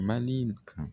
Mali kan